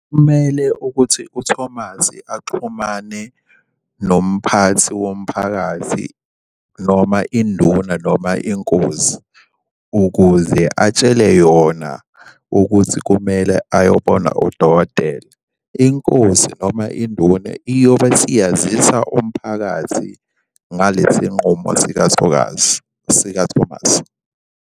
Kumele ukuthi u-Thomas axhumane nomphathi womphakathi noma induna noma inkozi ukuze atshele yona ukuthi kumele ayobona udokotela. Inkosi noma induna iyobe isiyazisa umphakathi ngalesi nqumo sikathokazi, sika-Thomas.